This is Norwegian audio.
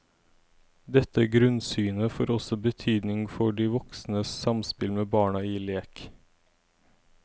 Dette grunnsynet får også betydning for de voksnes samspill med barna i lek.